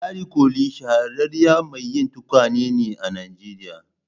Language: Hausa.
Ladi kolli shahararriyar mai yi tukwane ne a Nijeriya